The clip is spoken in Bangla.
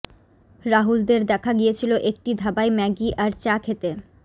রাহুলদের দেখা গিয়েছিল একটি ধাবায় ম্যাগি আর চা খেতে